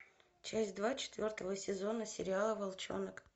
часть два четвертого сезона сериала волчонок